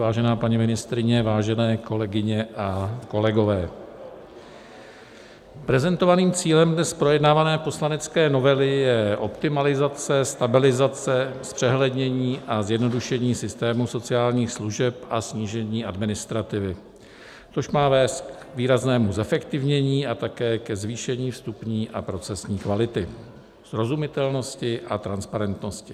Vážená paní ministryně, vážené kolegyně a kolegové, prezentovaným cílem dnes projednávané poslanecké novely je optimalizace, stabilizace, zpřehlednění a zjednodušení systému sociálních služeb a snížení administrativy, což má vést k výraznému zefektivnění a také ke zvýšení vstupní a procesní kvality, srozumitelnosti a transparentnosti.